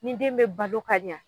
Nin den be balo ka ɲa